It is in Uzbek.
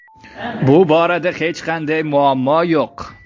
Bu borada hech qanday muammo yo‘q”.